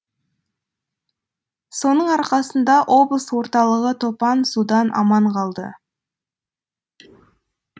соның арқасында облыс орталығы топан судан аман қалды